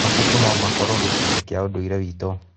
Mabuku no makorwo gĩcunjĩ kĩa ũndũire witũ.